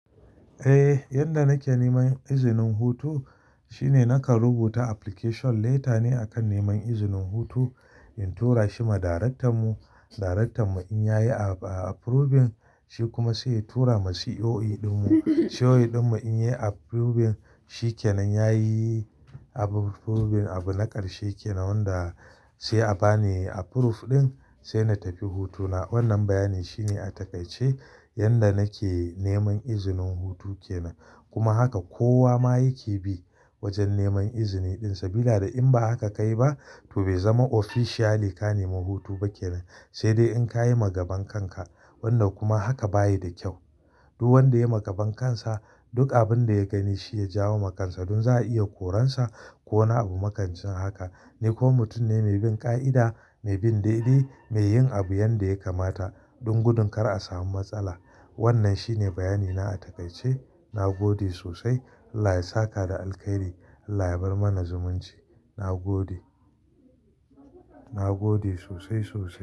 Eh, yanda nake neman izinin hutu shine nakan rubuta application letter ne a kan neman izinin hutu, in tura shi ma darektan mu. Darektan mu in yayi approving, shi kuma sai ya tura ma CEO ɗin mu. CEO ɗin mu in yayi approving, shi kenan yayi approving. Abu na ƙarshe kenan wanda sai a bani approve ɗin, sai na tafi hutuna. Wannan bayani shine a takaice yanda nake neman izinin hutu kenan. Kuma haka kowa ma yake bi wajen neman izini ɗinsa. Sabila da in ba haka kayi ba to bai zama officially ka nemi hutu ba kenan, sai dai in kayi ma gaban kanka. Wannan kuma haka bayi da kyau. Duk wanda ya ma gaban kansa, duk abin da ya gani shi ya jawo ma kansa. Dun za a iya koransa ko wani abu makamance haka. Ni kuma mutum ne mai bin ƙa'ida, mai bin daidai, mai yin abu yanda ya kamata dun gudun kar a samu matsala. Wannan shine bayani na a takaice. Na gode sosai. Allah ya saka da alkairi. Allah ya bar mana zumunci. Na gode. Na gode sosai, sosai.